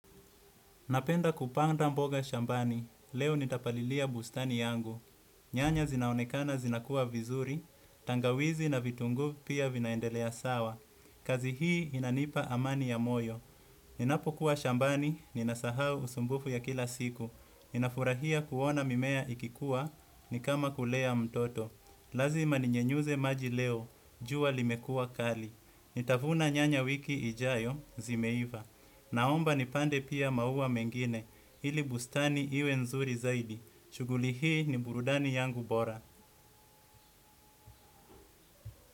Napenda kupanda mboga shambani, leo nitapalilia bustani yangu. Nyanya zinaonekana zinakua vizuri tangawizi na vitunguu pia vinaendelea sawa. Kazi hii inanipa amani ya moyo. Ninapokuwa shambani, ninasahau usumbufu ya kila siku. Nafurahia kuona mimea ikikua, nikama kulea mtoto. Lazima ninyunyize maji leo, jua limekuwa kali. Nitavuna nyanya wiki ijayo zimeiva. Naomba nipande pia maua mengine ili bustani iwe nzuri zaidi. Shughuli hii ni burudani yangu bora.